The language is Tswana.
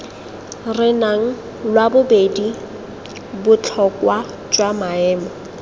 renang lwabobedi botlhokwa jwa maemo